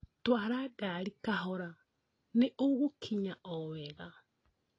Twara ngari kahora nĩ ũgĩkinya o wega